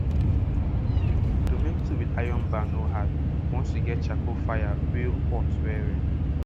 to make tool with iron bar no hard once you get charcoal fire wey hot well well